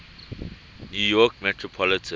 new york metropolitan